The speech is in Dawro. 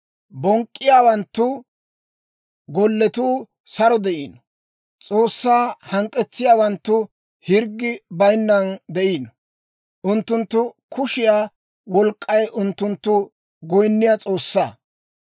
Bonk'k'iyaawanttu golletuu saro de'iino; S'oossaa hank'k'etsiyaawanttu hirggi bayinnan de'iino. Unttunttu kushiyaa wolk'k'ay unttunttu goyinniyaa s'oossaa.